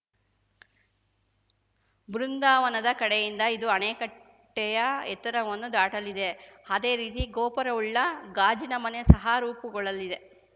ಬೃಂದಾವನದ ಕಡೆಯಿಂದ ಇದು ಅಣೆಕಟ್ಟೆಯ ಎತ್ತರವನ್ನು ದಾಟಲಿದೆ ಅದೇ ರೀತಿ ಗೋಪುರವುಳ್ಳ ಗಾಜಿನಮನೆ ಸಹ ರೂಪುಗೊಳ್ಳಲಿದೆ